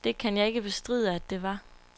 Det kan jeg ikke bestride, at det var.